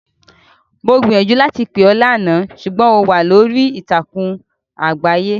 Mo gbiìyànjú láti pè ọ́ lánàá, ṣùgbọ́n ò wà lórí ìtàkùn àgbáyé.